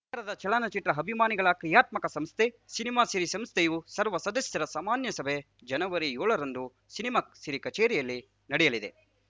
ನಗರದ ಚಲನಚಿತ್ರ ಅಭಿಮಾನಿಗಳ ಕ್ರಿಯಾತ್ಮಕ ಸಂಸ್ಥೆ ಸಿನಿಮಾ ಸಿರಿ ಸಂಸ್ಥೆಯ ಸರ್ವ ಸದಸ್ಯರ ಸಾಮಾನ್ಯ ಸಭೆ ಜನವರಿಏಳರಂದು ಸಿನಿಮಾ ಸಿರಿ ಕಚೇರಿಯಲ್ಲಿ ನಡೆಯಲಿದೆ